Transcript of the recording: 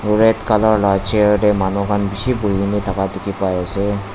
aru red color la chair de manu khan bishi buhi na thaka dikhi pai ase.